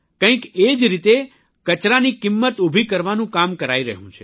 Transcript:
કંઇક એ જ રીતે કચરાને મૂલ્યમાં બદલવાનું પણ કામ કરાઇ રહ્યું છે